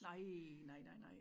Nej nej nej nej